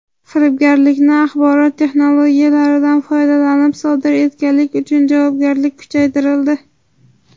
Firibgarlikni axborot texnologiyalaridan foydalanib sodir etganlik uchun javobgarlik kuchaytirildi.